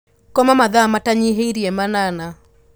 Koma mathaa matanyihĩire manana.